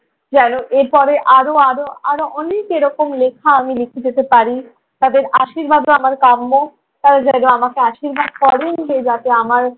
যেনো এরপরে আরো আরো আরো অনেক এরকম লিখা আমি লিখে যেতে পারি। তাদের আশীর্বাদও আমার কাম্য। তারা যেন আমাকে আশীর্বাদ করেন যে যাতে আমার